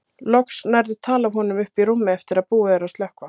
Loks nærðu tali af honum uppi í rúmi eftir að búið er að slökkva.